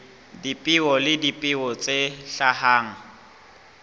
dipeo le dipeo tse hlahang